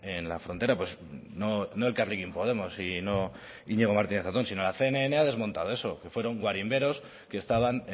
en la frontera no elkarrekin podemos y no iñigo martínez zatón sino la cnn ha desmontado eso que fueron guarimberos que estaban